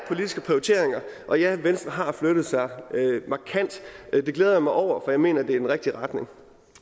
politiske prioriteringer og ja venstre har flyttet sig markant det glæder jeg mig over for jeg mener at det er den rigtige retning